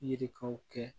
Yirikanw kɛ